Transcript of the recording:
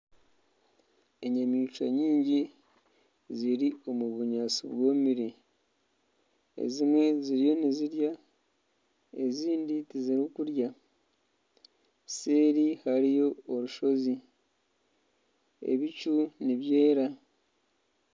Enyamaishwa nyingi ziri omu bunyaatsi bwomire. Ezimwe ziriyo nizirya, ezindi tizirikurya. Seeri hariyo orushozi. Ebicu nibyera.